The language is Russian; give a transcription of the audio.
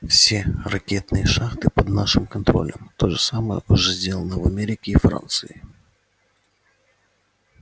все ракетные шахты под нашим контролем то же самое уже сделано в америке и франции